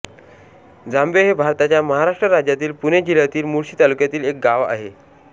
जांबे हे भारताच्या महाराष्ट्र राज्यातील पुणे जिल्ह्यातील मुळशी तालुक्यातील एक गाव आहे